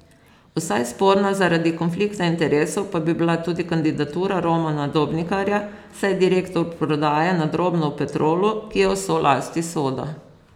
Vsaj sporna zaradi konflikta interesov pa bi bila tudi kandidatura Romana Dobnikarja, saj je direktor prodaje na drobno v Petrolu, ki je v solasti Soda.